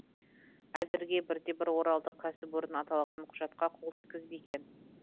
әзірге бірде бір оралдық кәсіпорын аталған құжатқа қол жеткізбеген